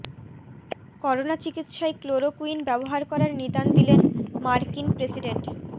corona চিকিৎসায় chloroquine ব্যবহার করার নিদান দিলেন মার্কিন প্রেসিডেন্ট